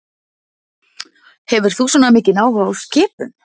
Hefur þú svona mikinn áhuga á skipum?